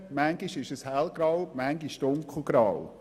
Manchmal ist etwas hellgrau, manchmal dunkelgrau.